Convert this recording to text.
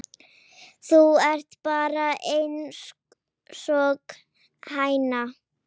Þú ert bara einsog hæna.